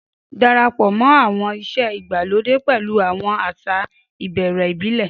Darapọ̀ àwọn ìṣe ìgbàlódé pẹ̀lú àwọn àṣà ìbẹ̀rẹ̀ ìbílẹ̀.